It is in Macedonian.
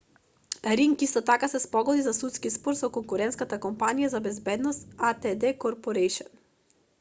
ринг исто така се спогоди за судски спор со конкурентската компанија за безбедност адт корпорејшн